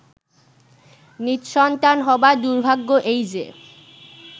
নিঃসন্তান হবার দুর্ভাগ্য এই যে